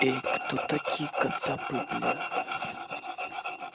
эй кто такие кацапы бля